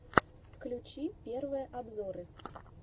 включи первые обзоры